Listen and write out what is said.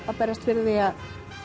að berjast fyrir því að